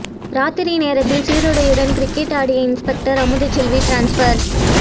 ராத்திரி நேரத்தில் சீருடையுடன் கிரிக்கெட் ஆடிய இன்ஸ்பெக்டர் அமுதச் செல்வி டிரான்ஸ்பர்